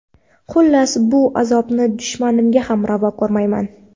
Xullas, bu azobni dushmanimga ham ravo ko‘rmayman.